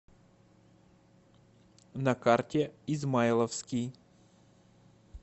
на карте измайловский